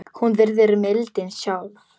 Hún virðist mildin sjálf.